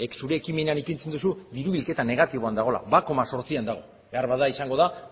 zure ekimenean ipintzen duzu diru bilketa negatiboan dagoela bat koma zortzian dago beharbada izango da